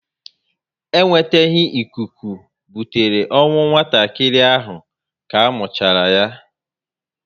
E nweteghi ikuku butere ọnwụ nwatakịrị ahụ ka muchara yá